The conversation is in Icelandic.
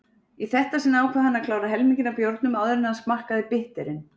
Í þetta sinn ákvað hann klára helminginn af bjórnum áður en hann smakkaði bitterinn.